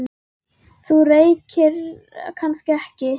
Þú reykir kannski ekki?